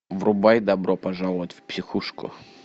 врубай добро пожаловать в психушку